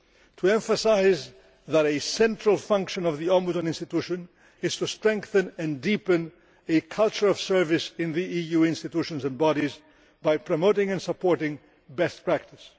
to emphasise that a central function of the Ombudsman institution is to strengthen and deepen a culture of service in the EU institutions and bodies by promoting and supporting best practice.